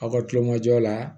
Aw ka tulonkɛ jɔ la